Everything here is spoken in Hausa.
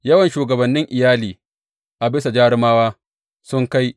Yawan shugabannin iyali a bisa jarumawa sun kai